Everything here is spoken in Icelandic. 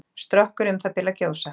Strokkur um það bil að gjósa.